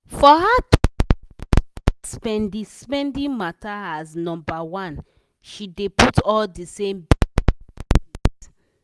for her to put her spendi-spendi matter as nombaone she dey put all di same bills for one place.